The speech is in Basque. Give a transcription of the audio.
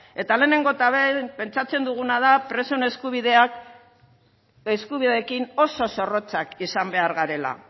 eta lehenengo eta behin pentsatzen duguna da presoen eskubideekin oso zorrotzak izan behar garela